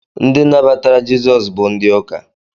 Ndị nabatara jesus bụ ndị ụka